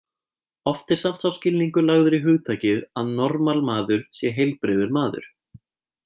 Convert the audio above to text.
Oft er samt sá skilningur lagður í hugtakið að normal maður sé heilbrigður maður.